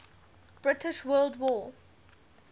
british world war